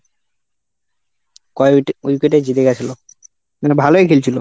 কয়েক wicket এই জিতে গেছিলো, মানে ভালোই খেলছিল।